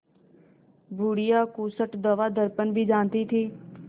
बुढ़िया खूसट दवादरपन भी जानती थी